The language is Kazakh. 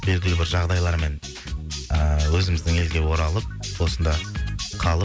белгілі бір жағдайлармен ыыы өзіміздің елге оралып осында қалып